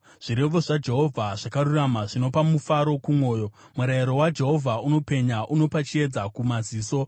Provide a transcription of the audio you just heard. Zvirevo zvaJehovha zvakarurama, zvinopa mufaro kumwoyo. Murayiro waJehovha unopenya, unopa chiedza kumaziso.